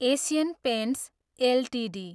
Asian paints Ltd